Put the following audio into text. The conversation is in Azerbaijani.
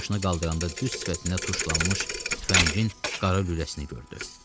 Başını qaldıranda düz sifətində tuşlanmış tüfəngin qara lüləsini gördü.